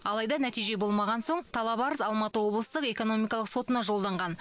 алайда нәтиже болмаған соң талап арыз алматы облыстық экономикалық сотына жолданған